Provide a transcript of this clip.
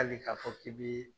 Hali k'a fɔ k'i bi